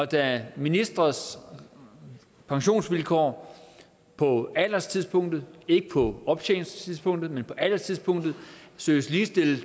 da ministres pensionsvilkår på alderstidspunktet ikke på optjeningstidspunktet men på alderstidspunktet søges ligestillet